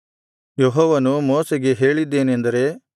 ಯೆಹೋವನು ಮೋಶೆಗೆ ಹೇಳಿದ್ದೇನೆಂದರೆ